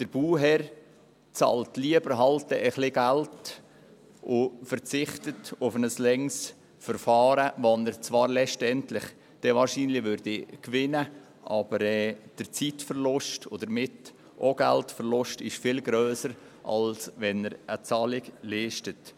Der Bauherr bezahlt lieber etwas und verzichtet auf ein langes Verfahren, das er letztlich zwar wahrscheinlich gewänne, aber der Zeit- und damit auch der Geldverlust wären viel grösser, als wenn er die Zahlung leistet.